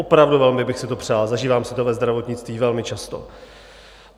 Opravdu velmi bych si to přál, zažívám si to ve zdravotnictví velmi často.